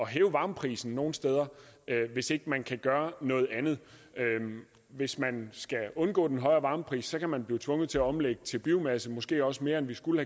hæve varmeprisen nogle steder hvis ikke man kan gøre noget andet hvis man skal undgå den højere varmepris kan man blive tvunget til at omlægge til biomasse måske også mere end vi skulle